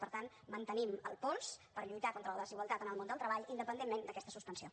per tant mantenim el pols per lluitar contra la desigualtat en el món del treball independentment d’aquesta suspensió